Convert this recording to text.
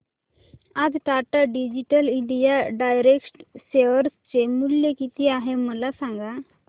आज Tata digital India direct share चे मूल्य किती आहे मला सांगा